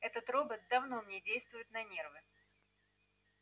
этот робот давно мне действует на нервы